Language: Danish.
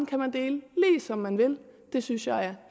kan man dele ligesom man vil det synes jeg er